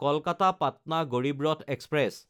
কলকাতা–পাটনা Garib Rath express